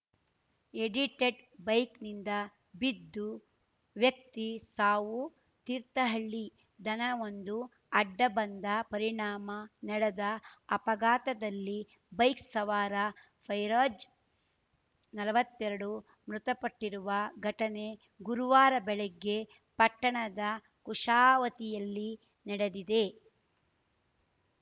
edited ಬೈಕ್‌ನಿಂದ ಬಿದ್ದು ವ್ಯಕ್ತಿ ಸಾವು ತೀರ್ಥಹಳ್ಳಿ ದನವೊಂದು ಅಡ್ಡ ಬಂದ ಪರಿಣಾಮ ನಡೆದ ಅಪಘಾತದಲ್ಲಿ ಬೈಕ್‌ ಸವಾರ ಫೈರೋಜ್‌ ನಲ್ವತ್ತೆರಡು ಮೃತಪಟ್ಟಿರುವ ಘಟನೆ ಗುರುವಾರ ಬೆಳಗ್ಗೆ ಪಟ್ಟಣದ ಕುಶಾವತಿಯಲ್ಲಿ ನಡೆದಿದೆ